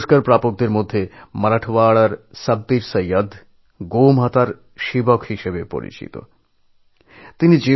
পদ্ম পুরস্কার প্রাপকদের মধ্যে মারাঠওয়াড়ার সাব্বির সঈদকে গোমাতার সেবক হিসেবে সবাই জানে